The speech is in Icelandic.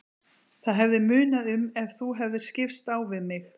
Það hefði munað um ef þú hefðir skipst á við mig.